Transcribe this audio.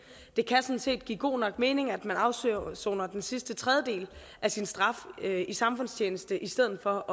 det kan sådan set give god nok mening at man afsoner afsoner den sidste tredjedel af sin straf ved samfundstjeneste i stedet for